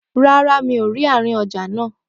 Rárá, mi ò rí àárín ọjà náà